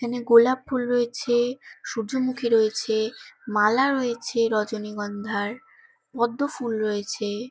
এখানে গোলাপ ফুল রয়েছে সূর্যমুখী রয়েছে মালা রয়েছে রজনীগন্ধার পদ্ম ফুল রয়েছে।